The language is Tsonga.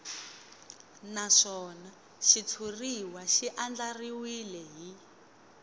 naswona xitshuriwa xi andlariwile hi